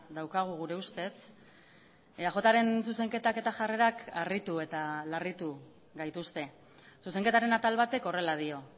daukagu gure ustez eajren zuzenketak eta jarrerak harritu eta larritu gaituzte zuzenketaren atal batek horrela dio